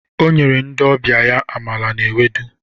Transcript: O nyere ndị ọbịa ya amala na ewedu.